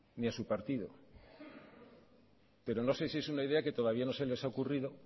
ni a su partido pero no sé si es una idea que todavía no se les ha ocurrido